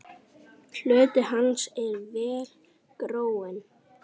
Hluti hans er vel gróinn.